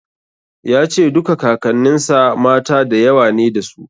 Ya ce duka Kakanninsa mata da yawa ne dasu.